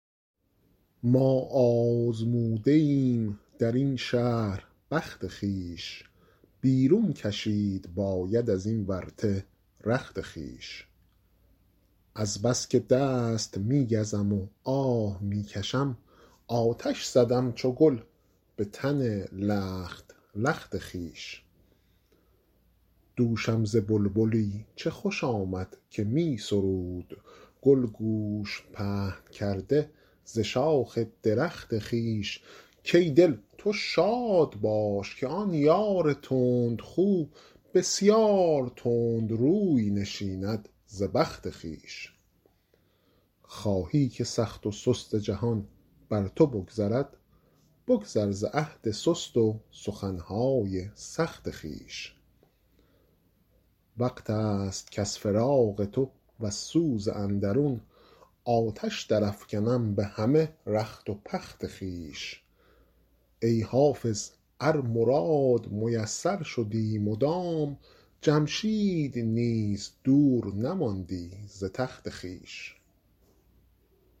ما آزموده ایم در این شهر بخت خویش بیرون کشید باید از این ورطه رخت خویش از بس که دست می گزم و آه می کشم آتش زدم چو گل به تن لخت لخت خویش دوشم ز بلبلی چه خوش آمد که می سرود گل گوش پهن کرده ز شاخ درخت خویش کای دل تو شاد باش که آن یار تندخو بسیار تند روی نشیند ز بخت خویش خواهی که سخت و سست جهان بر تو بگذرد بگذر ز عهد سست و سخن های سخت خویش وقت است کز فراق تو وز سوز اندرون آتش درافکنم به همه رخت و پخت خویش ای حافظ ار مراد میسر شدی مدام جمشید نیز دور نماندی ز تخت خویش